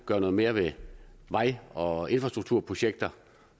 gøre noget mere ved vej og infrastrukturprojekter